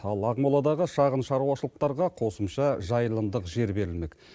ал ақмоладағы шағын шаруашылықтарға қосымша жайылымдық жер берілмек